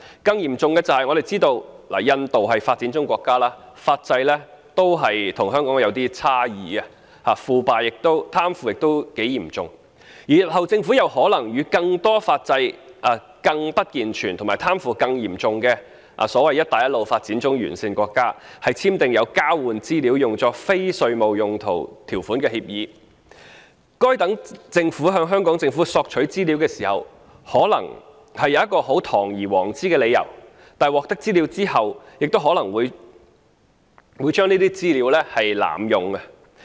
更嚴重的是，我們都知道印度是發展中國家，其法制與香港有差異，貪腐也相當嚴重，而日後政府又可能與更多法制更不健全及貪腐更嚴重的"一帶一路"沿線發展中國家簽訂有交換資料作非稅務用途條款的協定，該等政府在向香港政府索取資料時，可能會提出堂而皇之的理由，但在獲得資料後卻可能會濫用該等資料。